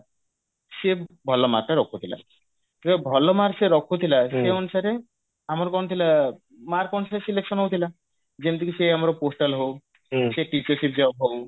ସିଏ ଭଲ mark ଟା ରଖୁଥିଲା ଯଉ ଭଲ mark ସିଏ ରଖୁଥିଲା ସେଇ ଅନୁସାରେ ଆମର କଣ ଥିଲା mark ଅନୁସାରେ selection ହଉଥିଲା ଯେମତି କି ସେ ଆମର postal ହଉ teacher ship job ହଉ